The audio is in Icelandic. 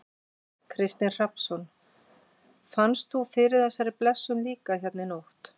Kristinn Hrafnsson: Fannst þú fyrir þessari blessun líka hérna í nótt?